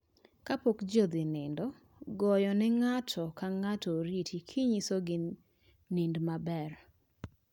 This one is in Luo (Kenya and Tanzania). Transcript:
Ka pok ji odhi nindo, goyo ne ng'ato kang'ato oriti gi nyiso gi, "nind maber"